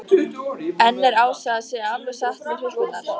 En er Ása að segja alveg satt með hrukkurnar?